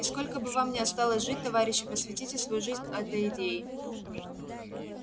и сколько бы вам ни осталось жить товарищи посвятите свою жизнь этой идее